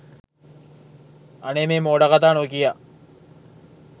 අනේ මේ මෝඩ කතා නොකියා